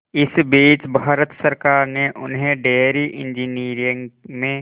इस बीच भारत सरकार ने उन्हें डेयरी इंजीनियरिंग में